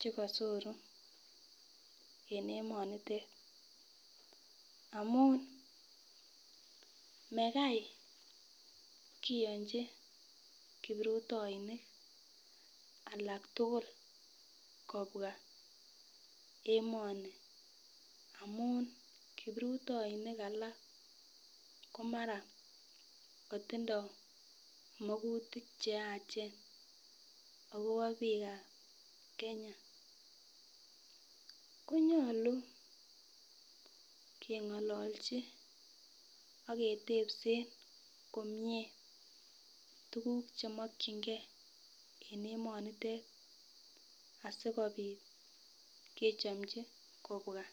chekosoru en emonitet amun mekai kiyonchi kiprutoinik alak tukul kobwa emoni amun kiprutoinik alak ko mara kotindo makutik cheyach akobo bikab Kenya konyolu kengololjin ak ketepsen komie tukuk chokingee en emonitet sikopit kechopchin kobwa.